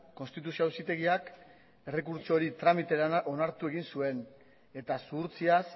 konstituzio auzitegiak errekurtso hori tramitera onartu egin zuen eta zuhurtziaz